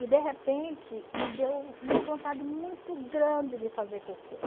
E, de repente, me deu uma vontade muito grande de fazer cocô.